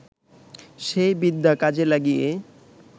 সেই বিদ্যা কাজে লাগিয়ে